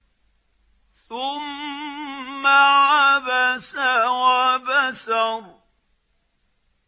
ثُمَّ عَبَسَ وَبَسَرَ